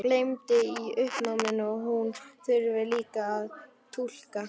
Gleymdi í uppnáminu að hún þurfti líka að túlka.